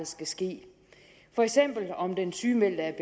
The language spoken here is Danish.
skal ske for eksempel om den sygemeldte er